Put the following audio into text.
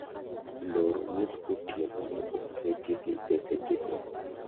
Loro wuotho otieno ne oketi gi e seche go.